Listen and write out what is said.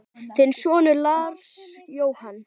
Þinn sonur, Lars Jóhann.